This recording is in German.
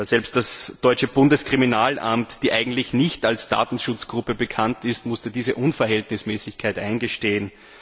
Selbst das deutsche Bundeskriminalamt, das eigentlich nicht als Datenschutzgruppe bekannt ist, musste diese Unverhältnismäßigkeit eingestehen.